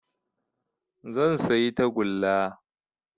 Zan sayi tagulla